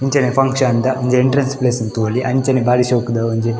ಇಂಚನೆ function ದ ಒಂಜಿ entrance place ನ್ ತೂವೊಲಿ ಅಂಚನೆ ಬಾರಿ ಶೋಕುದ ಒಂಜಿ.